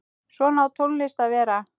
Svona á tónlist að vera.